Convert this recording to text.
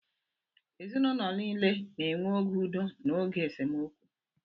Ezinụlọ niile na-enwe oge udo na oge esemokwu